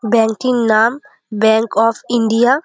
Banking নাম bank of India.